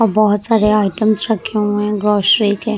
और बहुत सारे आइटम्स रखे हुए है ग्रोसरी के।